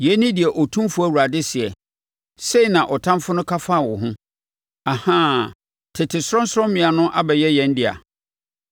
Yei ne deɛ Otumfoɔ Awurade seɛ: Sɛe na ɔtamfoɔ no ka faa wo ho, “Ahaa! Tete sorɔnsorɔmmea no abɛyɛ yɛn dea.” ’